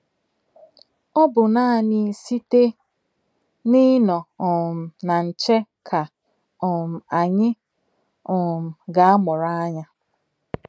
Ọ̀ bụ̀ nánị̀ sị̀té n’ìnọ̀ um nà nchè kà um ányị̀ um gà-àmụ̀rụ̀ ànyà.